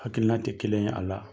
Hakilina tɛ kelen ye a la.